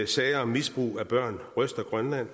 sager om misbrug af børn ryster grønland